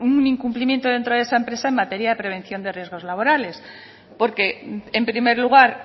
un incumplimiento dentro esa empresa en materia de prevención de riesgos laborales porque en primer lugar